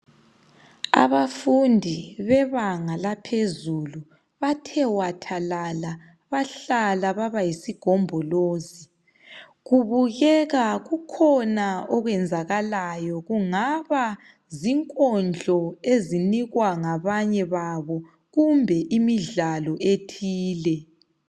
Abafundi bebanga laphezulu. Bahlezi bathe wathwalala. Bahlala baba yisigombolizi. Kubukeka kukhona okwenzakalayo. Kungaba zinkondlo, ezinikwa ngabanye babo. Kumbe imidlalo ethile.